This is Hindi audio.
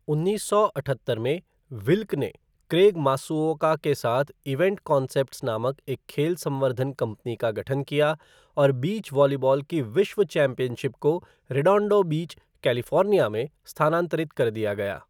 उन्नीस सौ अठहत्तर में, विल्क ने क्रेग मासुओका के साथ इवेंट कॉन्सेप्ट्स नामक एक खेल संवर्धन कंपनी का गठन किया और बीच वॉलीबॉल की विश्व चैम्पियनशिप को रेडोंडो बीच, कैलिफ़ोर्निया में स्थानांतरित कर दिया गया।